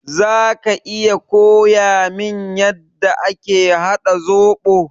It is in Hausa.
Zaka iya koyamin yanda ake haɗa zoɓo?